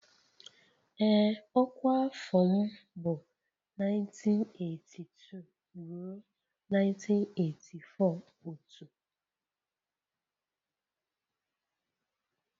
Ee ọkwa afọ m bụ 1982 ruo 1984 otu